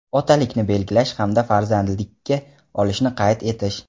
otalikni belgilash hamda farzandlikka olishni) qayd etish;.